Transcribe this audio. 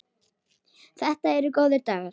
Þetta eru góðir dagar.